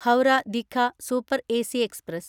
Howrah Digha super AC express